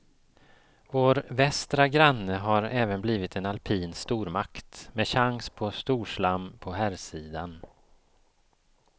Vår västra granne har även blivit en alpin stormakt, med chans på storslam på herrsidan.